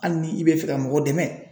Hali ni i bɛ fɛ ka mɔgɔ dɛmɛ